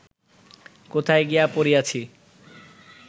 কোথায় গিয়া পড়িয়াছি